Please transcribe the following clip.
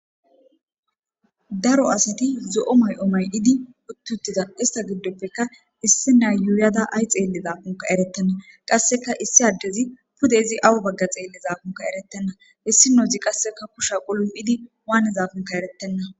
daro asati zo7o may7omay idi uttutida ista giddoppeka issi na yuuyada ay xeelli zaafunka eretenna qasseka issi addezi pude izi awu bagga xeelli zaafunka erettenna issi noozi qasseka kusha qulum7idi waanezaafunka erettenna